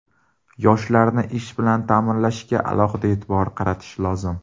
Yoshlarni ish bilan ta’minlashga alohida e’tibor qaratish lozim.